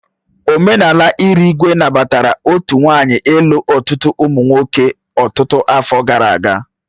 Omenala Irigwe nabatara otu nwanyị ịlu ọtụtụ ụmụ nwoke ọtụtụ afọ gara aga.